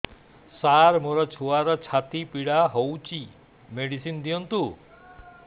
ସାର ମୋର ଛୁଆର ଛାତି ପୀଡା ହଉଚି ମେଡିସିନ ଦିଅନ୍ତୁ